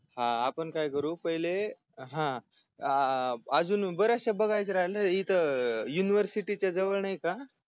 हा आपण काय करू पहिले अं हा आजून ब-याशसा बघायच राहिल इथ UNIVERSITY जवळ नाही का